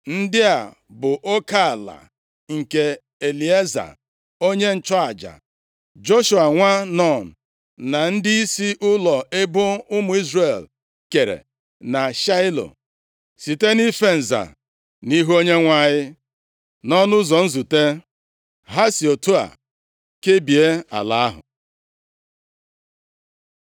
Ndị a bụ oke ala nke Elieza onye nchụaja, Joshua nwa Nun na ndịisi ụlọ ebo ụmụ Izrel, kere na Shaịlo site nʼife nza nʼihu Onyenwe anyị, nʼọnụ ụzọ ụlọ nzute. Ha si otu a kebie ala ahụ.